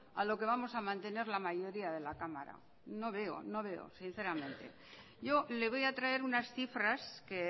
a lo que vamos a mantener la mayoría de la cámara no veo no veo sinceramente yo le voy a traer unas cifras que